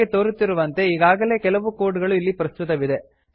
ನಮಗೆ ತೋರುತ್ತಿರುವಂತೆ ಈಗಾಗಲೆ ಕೆಲವು ಕೋಡ್ ಗಳು ಇಲ್ಲಿ ಪ್ರಸ್ತುತವಿದೆ